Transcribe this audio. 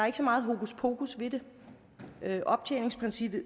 ikke så meget hokuspokus ved det optjeningsprincippet